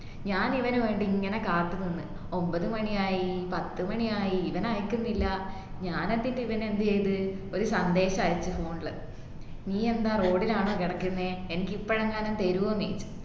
ഞാൻ ഇവനുവേണ്ടി ഇങ്ങനെ കാത്തുനിന്നു ഒമ്പത് മണിയായി പത്തു മണിയായി ഇവൻ അയക്കുന്നില്ല ഞാൻ എന്നിട്ട് ഇവനെ എന്ത്ചെയ്ത് ഒരു സന്ദേശം അയച്ചു phone ല് നീ എന്താ road ലാണോ കിടക്കുന്നെ എനിക്കിപ്പോഴെങ്ങാനും തെരുവോ നീ